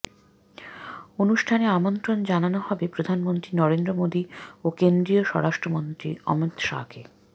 অনুষ্ঠানে আমন্ত্রণ জানানো হবে প্রধানমন্ত্রী নরেন্দ্র মোদী ও কেন্দ্রীয় স্বরাষ্ট্রমন্ত্রী অমিত শাহকে